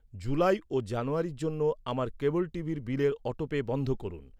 July ও জানুয়ারির জন্য আমার কেবল টিভির বিলের অটোপে বন্ধ করুন।